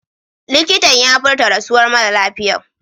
Likitan ya furta rasuwan mara lafiyan.